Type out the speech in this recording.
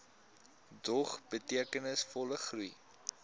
dog betekenisvolle groei